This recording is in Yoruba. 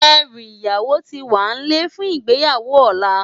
Èrú iyáwó ti wánlè fún igbéyáwó òlá